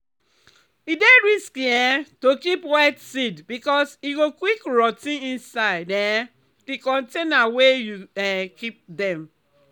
e dey risky um to keep wet seed because e go quick rot ten inside um di container wey you um keep dem.